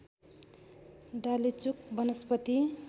डालेचुक वनस्पति